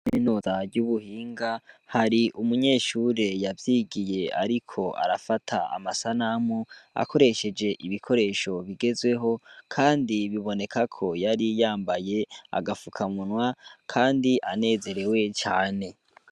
Minozary'ubuhinga hari umunyeshure yavyigiye, ariko arafata amasanamu akoresheje ibikoresho bigezweho, kandi biboneka ko yari yambaye agafukamunwa, kandi anezerewe cane.